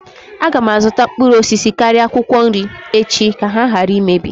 Aga m azụta mkpụrụ osisi karịa akwụkwọ nri echi ka ha ghara imebi